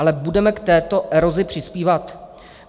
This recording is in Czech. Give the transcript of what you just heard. Ale budeme k této erozi přispívat?